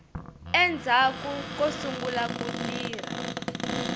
endzhaku ko sungula ku tirha